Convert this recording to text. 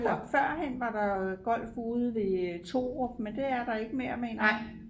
førhen var der golf ude ved Thorup men det er der ikke længere mener jeg